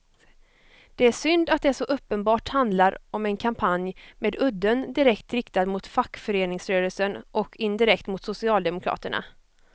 Det är synd att det så uppenbart handlar om en kampanj med udden direkt riktad mot fackföreningsrörelsen och indirekt mot socialdemokraterna.